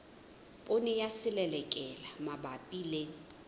poone ya selelekela mabapi le